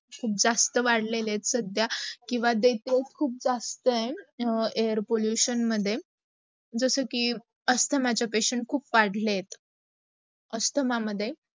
सुद्धा जास्त वाढलेलं आहेत सद्या किव्वा देतंय खूप जास्त आहे. air pollution मध्ये जस की asthama pacients खूप वाढलेत आहेत. asthama मध्ये